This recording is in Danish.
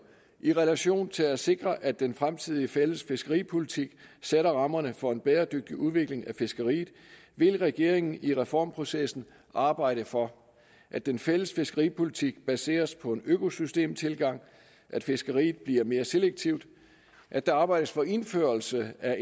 i relation til at sikre at den fremtidige fælles fiskeripolitik sætter rammerne for en bæredygtig udvikling af fiskeriet vil regeringen i reformprocessen arbejde for at den fælles fiskeripolitik baseres på en økosystemtilgang at fiskeriet bliver mere selektivt at der arbejdes for indførelse af